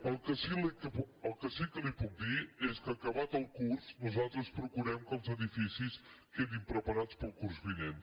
el que sí que li puc dir és que acabat el curs nosaltres procurem que els edificis quedin preparats per al curs vinent